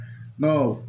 Dɔw